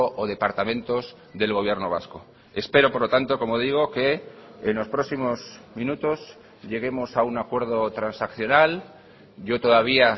o departamentos del gobierno vasco espero por lo tanto como digo que en los próximos minutos lleguemos a un acuerdo transaccional yo todavía